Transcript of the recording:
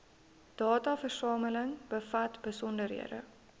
dataversameling bevat besonderhede